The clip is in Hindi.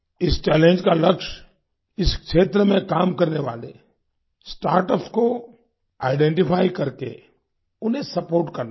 इस चैलेंज का लक्ष्य इस क्षेत्र में काम करने वाले स्टार्टअप्स को आइडेंटिफाई करके उन्हें सपोर्ट करना है